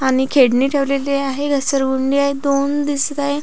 आणि खेडणी ठेवलेली आहे घसर गुंडी आहे दोन दिसत आहे.